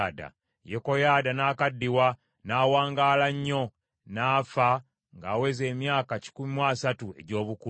Yekoyaada n’akaddiwa, n’awangaala nnyo, n’afa ng’aweza emyaka kikumi mu asatu egy’obukulu.